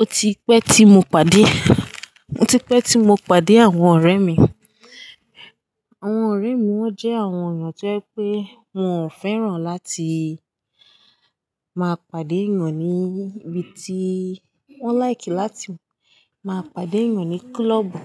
ó ti pẹ́ tí mo pàdé, ó ti pẹ́ tí mo pàdé àwọn ọ̀rẹ́ mi. Àwọn ọ̀rẹ́ mi wọ́n jẹ́ àwọn èèyàn tí ó ye pé wọ́n fẹ́ràn láti máa pàdé ẹ̀yàn ní ibi tí, wọ́n like láti máa pàdé ẹ̀yàn ní club.